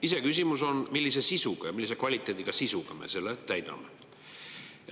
Iseküsimus on, millise sisuga, millise kvaliteediga sisuga me selle täidame.